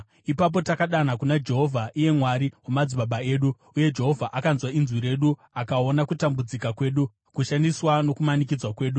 Ipapo takadana kuna Jehovha, iye Mwari wamadzibaba edu, uye Jehovha akanzwa inzwi redu akaona kutambudzika kwedu, kushandiswa nokumanikidzwa kwedu.